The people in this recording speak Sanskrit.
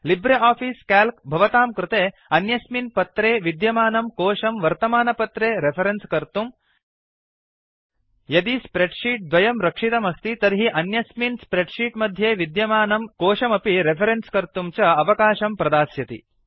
लिब्रे आफिस् क्याल्क् भवतां कृते अन्यस्मिन् पत्रेशीट् विद्यमानं कोशं वर्तमानपत्रे रेफरेन्स् कर्तुं यदि स्प्रेड् शीट् द्वयं रक्षितम् अस्ति तर्हि अन्यस्मिन् स्प्रेड् शीट् मध्ये विद्यमानं कोशमपि रेफरेन्स् कर्तुं च अवाकाशं प्रदास्यति